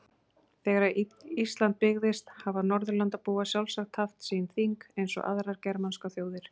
Þegar Ísland byggðist hafa Norðurlandabúar sjálfsagt haft sín þing eins og aðrar germanskar þjóðir.